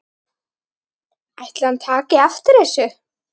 Ætli hann taki eftir þessu?